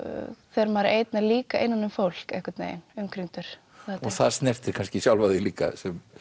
þegar maður er einn en líka innan um fólk umkringdur það snertir kannski sjálfa þig líka